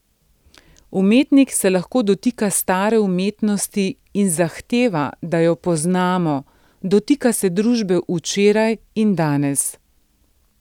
Umetnik se lahko dotika stare umetnosti in zahteva, da jo poznamo, dotika se družbe včeraj in danes.